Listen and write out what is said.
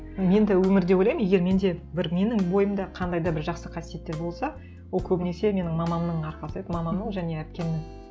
мен де өмірде ойлаймын егер менде бір менің бойымда қандай да бір жақсы қасиеттер болса ол көбінесе менің мамамның арқасы еді мамамның және әпкемнің